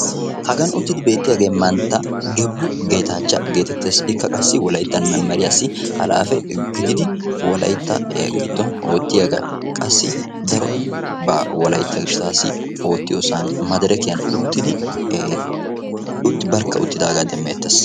hagaan uttidi beettiyaagee mantta gebbu geetachcha getettees. ikka qassi wolayttan memeriyaassi halaafe gididi wolaytta giddon oottiyaagaa. qassi darobaa wolaytta gishshatassi oottiyoosan maderekiyaan uttidi barkka uttidagaa demmeettees.